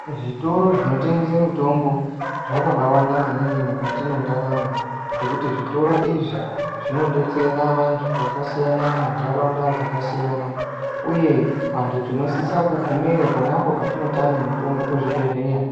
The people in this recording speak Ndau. Zvitoro zvinotengese mitombo zvakabaawanda maningi mukati mwendaramo ngekuti zvitoro izvi zvinodetsera vanhu vakasiyana munharaunda dzakasiyana uye vantu tinosise kugumeyo pona apo patinotame mitombo kuzvibhedhlera.